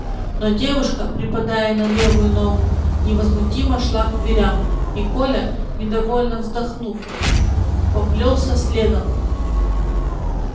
но девушка припадая на левую ногу невозмутимо шла к дверям и коля недовольно вздохнув поплёлся следом